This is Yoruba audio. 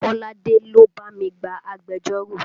Kolade ló bá mi gba agbẹjọ́rò